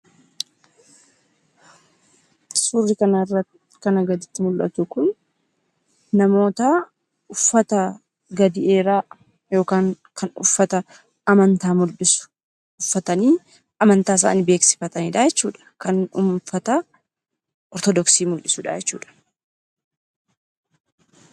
Suurri kanarratti mul'atu kun namoota uffata gadi dheeraa kan uffata amantaa mul'isu uffatanii amantaa isaanii beeksifatanidha jechuudha. Kan uffata ortodoksii mul'isudha jechuudha.